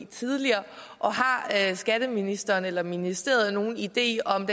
tidligere har skatteministeren eller ministeriet nogen idé om